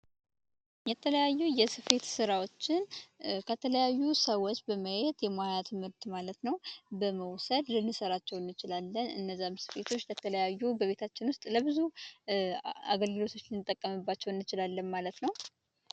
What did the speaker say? የተለያዩ የስፌት ስራዎችን ከተለያዩ ሰዎች በማየት የሙያ ትምህርትን ማለት ነው በመውሰድ ልንሰራቸው እንችላለን እነዛም ስፌቶች ለተለያዩ በቤታችን ውስጥ ለብዙ አገልግሎቶች ልንጠቀምባቸው እንችላለን ማለት ነው።